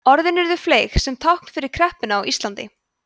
orðin urðu fleyg sem tákn fyrir kreppuna á íslandi